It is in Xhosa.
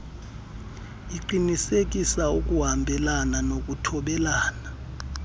uqinisekisa ukuhambelana nokuthobela